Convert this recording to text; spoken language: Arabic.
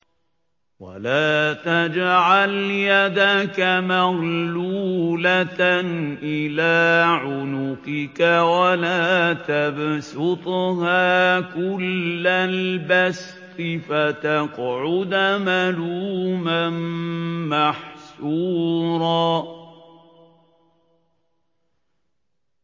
وَلَا تَجْعَلْ يَدَكَ مَغْلُولَةً إِلَىٰ عُنُقِكَ وَلَا تَبْسُطْهَا كُلَّ الْبَسْطِ فَتَقْعُدَ مَلُومًا مَّحْسُورًا